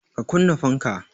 Ka kunna fanka!